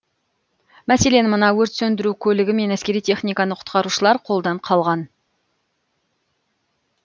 мәселен мына өрт сөндіру көлігі мен әскери техниканы құтқарушылар қолдан қалған